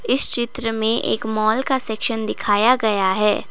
इस चित्र में एक माल का सेक्शन दिखाया गया है।